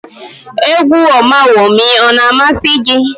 Égwú Ọmawumi a na-amasị gị?